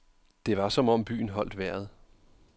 Det var som om byen holdt vejret.